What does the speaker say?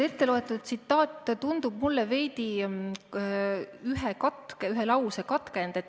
Etteloetud tsitaat tundub mulle veidi ühe lause katkendina.